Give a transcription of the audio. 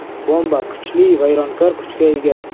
Bomba kuchli vayronkor kuchga ega.